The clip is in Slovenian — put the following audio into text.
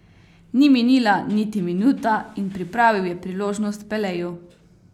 Ni minila niti minuta in pripravil je priložnost Peleju.